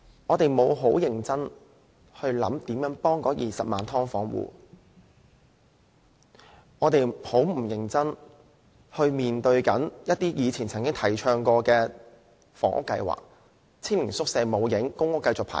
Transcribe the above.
政府沒有認真考慮怎樣幫助20萬"劏房戶"，亦沒有認真面對以往提倡的房屋計劃，青年宿舍沒有做到，公屋亦需要繼續輪候。